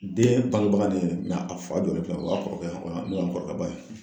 Den bangebaga de ye ne ye. a fa jɔlen filɛ o y'a kɔrɔkɛ ye, n'o y'an kɔrɔkɛ ba ye.